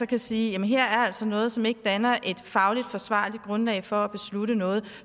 kan sige at her er der altså noget som ikke danner et fagligt forsvarligt grundlag for at beslutte noget og